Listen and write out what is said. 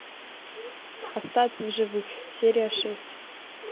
остаться в живых серия шесть